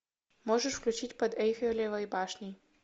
можешь включить под эйфелевой башней